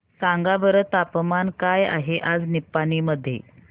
सांगा बरं तापमान काय आहे आज निपाणी मध्ये